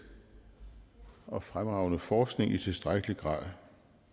og fremragende forskning i tilstrækkelig grad